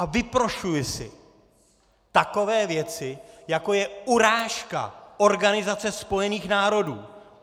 A vyprošuji si takové věci, jako je urážka Organizace spojených národů!